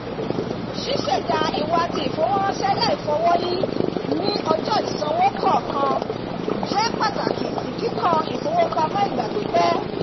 ṣiṣẹda ìwà ti ìfowóránṣẹ́ laifọwọyi ni ọjọ́ ìsanwó kọọkan jẹ́ pàtàkì sí kíkọ́ ifowópamọ́ ìgbà pípẹ́